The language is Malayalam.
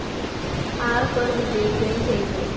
ആറ് പേർ വിജയിക്കുകയും ചെയ്തു.